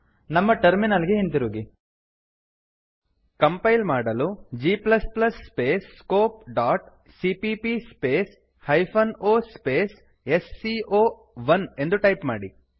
ನಮ್ಮ ಟರ್ಮಿನಲ್ ಗೆ ಹಿಂತಿರುಗಿ ಕಂಪೈಲ್ ಮಾಡಲು G plus plus scope dot CPP hyphen O S C O one ಎಂದು ಟೈಪ್ ಮಾಡಿ